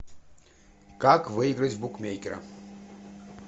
как выиграть в букмекера